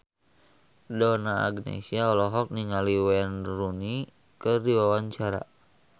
Donna Agnesia olohok ningali Wayne Rooney keur diwawancara